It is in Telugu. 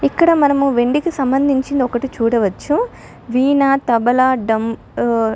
ఇక్కడ మనం వెండి కి సంబంధించినది ఒకటి చూడవచ్చును వీణ తబలా డ్రమ్ము అ --